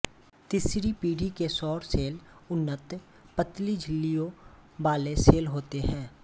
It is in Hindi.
तीसरी पीढ़ी के सौर सेल उन्नत पतली झिल्लियों वाले सेल होते हैं